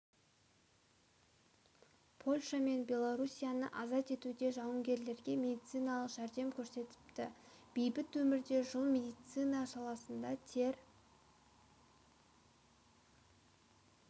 польша мен беларуссияны азат етуде жауынгерлерге медициналық жәрдем көрсетіпті бейбіт өмірде жыл медицина саласында тер